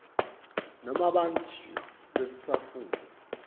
nome bantfu besitsatfu